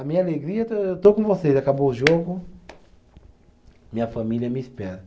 A minha alegria, eu estou com vocês, acabou o jogo, minha família me espera.